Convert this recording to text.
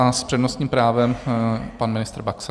A s přednostním právem pan ministr Baxa.